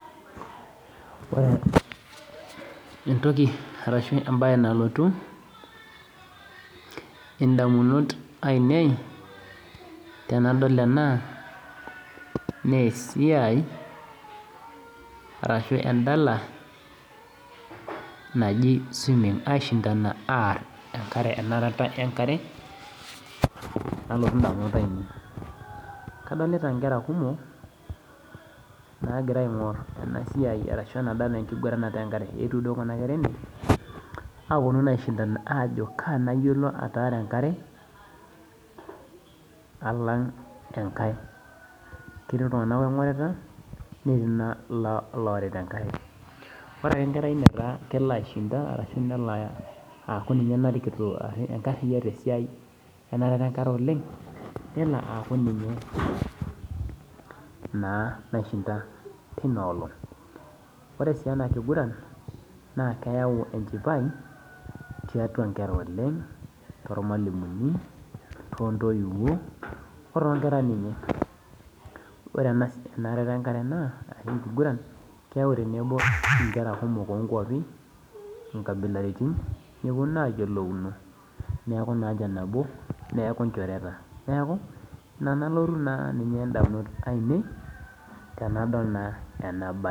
Ore entoki arashu ebae nalotu, indamunot ainei tenadol ena, nesiai arashu edala naji swimming. Aishindana aar enkare enarata enkare, nalotu indamunot ainei. Kadolita nkera kumok, nagira aing'or enasiai arashu enadala enkiguranata enkare. Eetuo duo kuna ene, aponu naa aishindana ajo kaa nayiolo ataara enkare, alang' enkae. Ketii iltung'anak ong'orita, netii naa iloorita enkare. Ore tenkerai nataa kelo aishindana ashu nelo aku ninye narikito enkarriyia tesiai enarata enkare oleng, nelo aku ninye naa naishinda tinoolong'. Ore si enakiguran, na keyau enchipai, tiatua nkera oleng, tormalimuni, tontoiwuo, otoo nkera ninye. Ore enarata enkare naa ashu enkiguran, keu tenebo inkera kumok onkwapi, inkabilaritin, neponu ayiolouno neeku nanche nabo, neeku inchoreta. Neeku, ina nalotu naa ninye indamunot ainei, tenadol naa enabae.